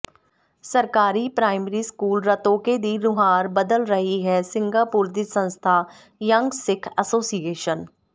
ਸਰਕਾਰੀ primary school Rattoke ਦੀ ਨੁਹਾਰ ਬਦਲ ਰਹੀ ਹੈ ਸਿੰਘਾਪੁਰ ਦੀ ਸੰਸਥਾ ਯੰਗ ਸਿੱਖ ਐਸੋਸੀਏਸ਼ਨ